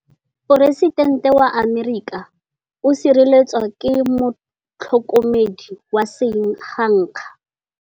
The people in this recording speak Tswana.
Poresitêntê wa Amerika o sireletswa ke motlhokomedi wa sengaga.